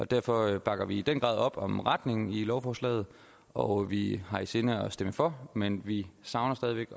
derfor bakker vi i den grad op om retningen i lovforslaget og vi har i sinde at stemme for men vi savner stadig væk